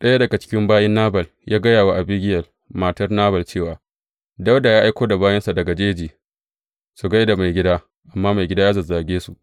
Ɗaya daga cikin bayin Nabal ya gaya wa Abigiyel matar Nabal cewa, Dawuda ya aiko da bayinsa daga jeji su gai da maigida, amma maigida ya zazzage su.